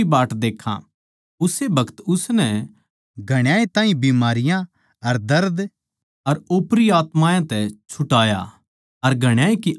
उस्से बखत उसनै घणाए ताहीं बीमारियाँ अर कांल्ली अर ओपरी आत्मायाँ तै छुटाया अर घणाए की आँख खोल दी